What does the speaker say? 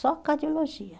Só cardiologia.